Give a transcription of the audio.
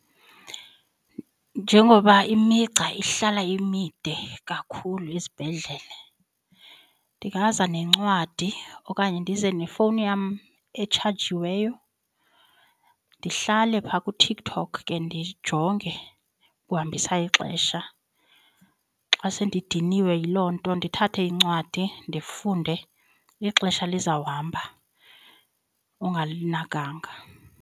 Njengoba imigca ihlala imide kakhulu esibhedlele ndingaza nencwadi okanye ndize nefowuni yam etshajiweyo ndihlale phaa kuTikTok ke ndijonge ukuhambisa ixesha. Xa sendidiniwe yiloo nto ndithathe incwadi ndifunde ixesha lizawuhamba ungalinakanga.